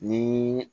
Ni